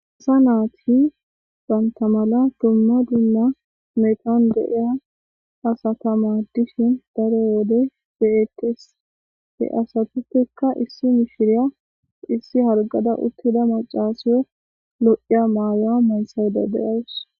Isa naati bantamala dumma dumma metaon deia asatama dishin daro wode be'eqtes he asatutekka issi mishiriya issi hargada uttida macaasiyo lo'iya maawa mansawda deyawus